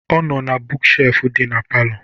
Ọ nọ na buuk shelfụ dị n'ime palọ